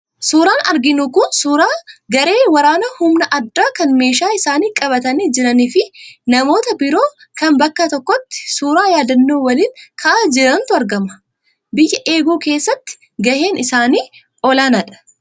Suuraan arginu kun suuraa garee waraanaa humna addaa kan meeshaa isaanii qabatanii jiranii fi namoota biroo kan bakka tokkotti suuraa yaadannoo waliin ka'aa jiranitu argama. Biyya eeguu keessatti gaheen isaanii olaanaadha.